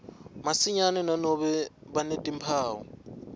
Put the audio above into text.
masinyane nanobe banetimphawu